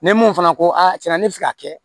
Ni mun fana ko a tiɲɛna ne bɛ fɛ ka kɛ